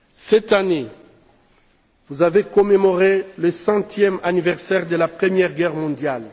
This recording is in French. Cette année, vous avez commémoré le centième anniversaire de la Première Guerre mondiale.